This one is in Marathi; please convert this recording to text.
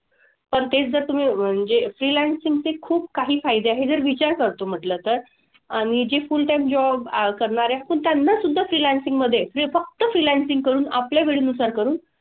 पण तेच जर तुम्ही म्हणजे freelancing चे खूप काही फायदे आहे जर विचार जातो म्हंटलं तर आणि जी full time करणारे असतात त्यांनासुद्धा freelancing मधे फक्त freelancing करून आपल्या वेळेनुसार करून,